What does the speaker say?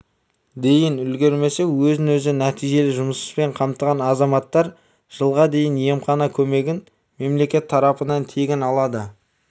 дейін үлгермесе өзін-өзі нәтижелі жұмыспен қамтыған азаматтар жылға дейін емхана көмегін мемлекет тарапынан тегін алады